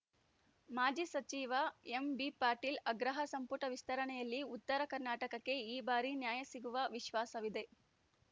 ಮಾಜಿ ಸಚಿವ ಎಂಬಿಪಾಟೀಲ್‌ ಆಗ್ರಹ ಸಂಪುಟ ವಿಸ್ತರಣೆಯಲ್ಲಿ ಉತ್ತರ ಕರ್ನಾಟಕಕ್ಕೆ ಈ ಬಾರಿ ನ್ಯಾಯ ಸಿಗುವ ವಿಶ್ವಾಸವಿದೆ